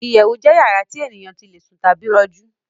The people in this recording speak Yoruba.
Ìyẹ̀wù jẹ́ yàrá tí ènìyàn tí le sùn tàbí rọjú